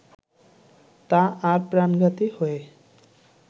তা আর প্রাণঘাতী হয়ে